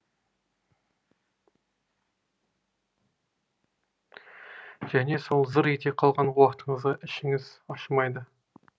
және сол зыр ете қалған уақытыңызға ішіңіз ашымайды